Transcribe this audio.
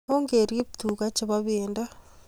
Ongerip tuka che po pendo